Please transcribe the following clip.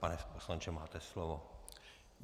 Pane poslanče, máte slovo.